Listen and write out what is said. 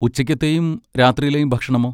ഉച്ചയ്ക്കത്തെയും രാത്രിയിലേം ഭക്ഷണമോ?